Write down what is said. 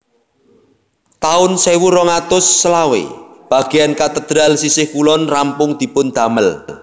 taun sewu rong atus selawe bagéyan katedral sisih kulon rampung dipun damel